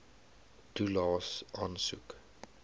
toelaes aansoek